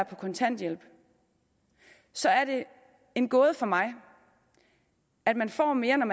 på kontanthjælp så er det en gåde for mig at man får mere